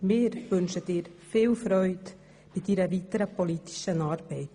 Wir wünschen dir viel Freude bei deiner weiteren politischen Arbeit.